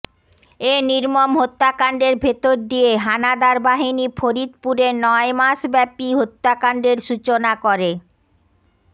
এ নির্মম হত্যাকান্ডের ভেতর দিয়ে হানাদার বাহিনী ফরিদপুরে নয় মাসব্যাপী হত্যাকান্ডের সূচনা করে